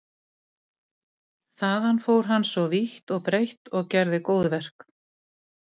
Þaðan fór hann svo vítt og breitt og gerði góðverk.